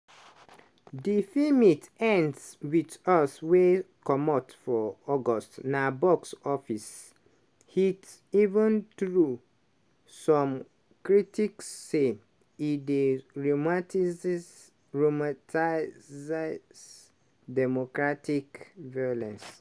di feemit ends with us wey comot for august na box office hit even through some critics say e dey romanticize romatize domocratic violence.